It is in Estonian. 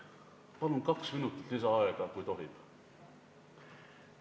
Palun kaks minutit lisaaega, kui tohib!